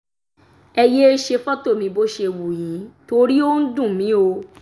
ẹ yéé ṣe fọ́tò mi bó ṣe wù yín torí ó ń dùn mí o